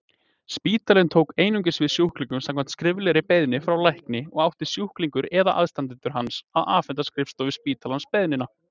Spítalinn tók einungis við sjúklingum samkvæmt skriflegri beiðni frá lækni og átti sjúklingurinn eða aðstandendur hans að afhenda skrifstofu spítalans beiðnina.